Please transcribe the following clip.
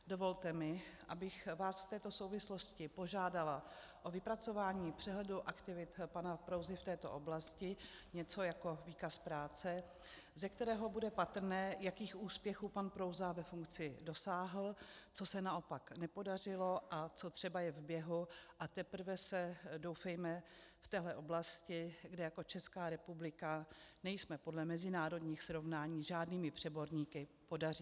Dovolte mi, abych vás v této souvislosti požádala o vypracování přehledu aktivit pana Prouzy v této oblasti, něco jako výkaz práce, ze kterého bude patrné, jakých úspěchů pan Prouza ve funkci dosáhl, co se naopak nepodařilo a co třeba je v běhu a teprve se, doufejme, v této oblasti, kde jako Česká republika nejsme podle mezinárodních srovnání žádnými přeborníky, podaří.